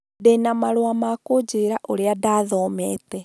Ndĩ na marũa ma kũnjĩra ũrĩa ndathomete